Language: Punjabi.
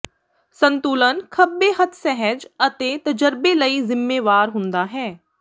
ਸੰਤੁਲਨ ਖੱਬੇ ਹੱਥ ਸਹਿਜ ਅਤੇ ਤਜਰਬੇ ਲਈ ਜ਼ਿੰਮੇਵਾਰ ਹੁੰਦਾ ਹੈ